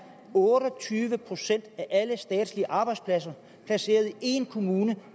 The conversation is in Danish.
otte og tyve procent af alle statslige arbejdspladser placeret i en kommune